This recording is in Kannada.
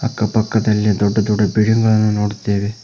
ಅಕ್ಕ ಪಕ್ಕದಲ್ಲಿ ದೊಡ್ಡ ದೊಡ್ಡ ಬಿಲ್ಡಿಂಗ್ ಗಳನ್ನು ನೋಡುತ್ತೇವೆ.